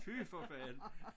Fy for fanden